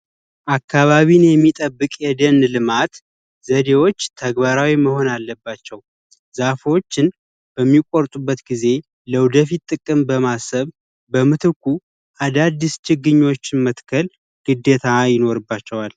አካባቢን የሚጠብቅ የደን ልማት ዘዴዎች ተግባራዊ መሆን አለባቸው። ዛፎችን በሚቆርጡበት ጊዜ ለወደፊት ጥቅም በማሰብ በምትኩ አዳዲስ ችግኞችን መትከል ግዴታ ይኖርባቸዋል።